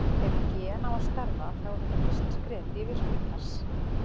Ef gen á að starfa þá er þetta fyrsta skrefið í virkjun þess.